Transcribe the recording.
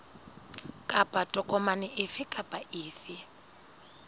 kapa tokomane efe kapa efe